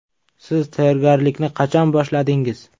Siz tayyorgarlikni qachon boshladingiz?